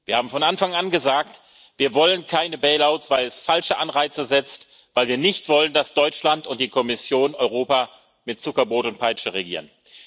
Wir haben von Anfang an gesagt Wir wollen keine bail outs weil es falsche Anreize setzt, weil wir nicht wollen, dass Deutschland und die Kommission Europa mit Zuckerbrot und Peitsche regieren.